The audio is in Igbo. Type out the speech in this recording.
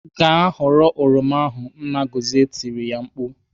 "Gaa ghọrọ oroma ahụ!" Nna Gọzie tiri ya mkpu.